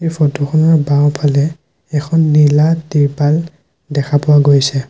এই ফটো খনৰ বাওঁফালে এখন নীলা তিৰপাল দেখা পোৱা গৈছে।